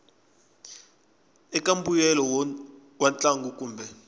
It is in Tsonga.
eka mbuyelo wa ntlangu kumbe